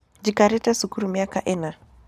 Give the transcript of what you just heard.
Njikarĩte cukuru mĩaka ĩna.